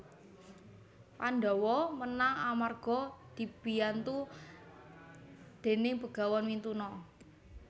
Pandhawa menang amarga dibiyantu déning Begawan Mintuna